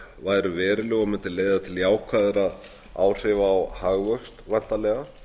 væru veruleg og mundu leiða til jákvæðra áhrifa á hagvöxt væntanlega